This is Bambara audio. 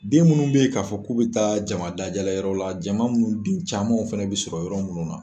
Den minnu bɛ yen k'a fɔ k'u bɛ taa jama dajala yɔrɔ la jama minnu dun caman fana bɛ sɔrɔ yɔrɔ minnu na